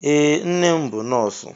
Ee, nne m bụ nọọsụ.